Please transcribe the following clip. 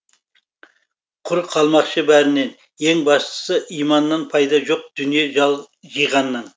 құр қалмақшы бәрінен ең бастысы иманнан пайда жоқ дүние жиғаннан